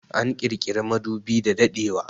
An kirkiri madubi da daɗewa